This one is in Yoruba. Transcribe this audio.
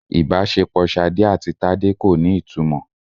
Ìbáṣepọ̀ Ṣadé àti Tádé kò ní ìtumọ̀.